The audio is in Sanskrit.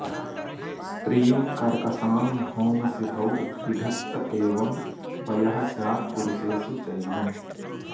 स्त्रीं कर्कशां भौमसितौ विघत्त एवं वयः स्यात्पुरुषेषु चैवम्